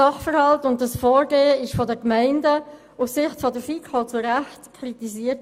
Aus Sicht der FiKo wurde dieses Vorgehen von den Gemeinden zu Recht kritisiert.